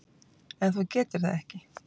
En þú getur það ekki.